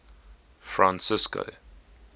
francisco